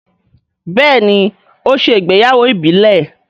béèni o ṣe ìgbéyàwó ìbílè..